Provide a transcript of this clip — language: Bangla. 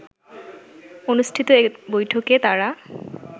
অনুষ্ঠিত এক বৈঠকে তারা